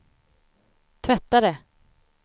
tvättare